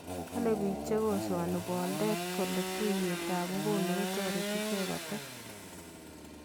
kole biik che kosoani boldet kole tuiyet ab nguno kotareti ichek kotet